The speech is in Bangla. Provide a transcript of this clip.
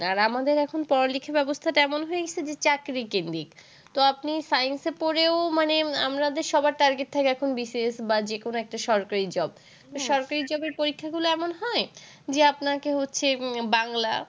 আর আমাদের এখন পড়া-লিখা ব্যবস্থাটা এমন হয়ে গিয়েছে চাকরিকেন্দ্রীক। তো আপনি science পড়েও মানে আপনাদের সবার target থাকে BCS বা যে কোন একটা সরকারি job । তো সরকারি job এর পরীক্ষাগুলো এমন হয় যে আপনাকে হচ্ছে বাংলা,